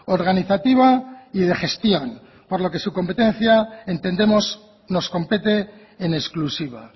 organizativa y de gestión por lo que su competencia entendemos nos compete en exclusiva